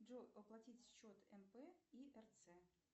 джой оплатить счет мп и рц